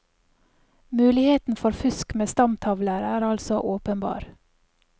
Muligheten for fusk med stamtavler er altså åpenbar.